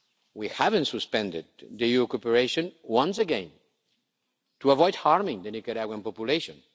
We haven't suspended EU cooperation, once again, to avoid harming the Nicaraguan population.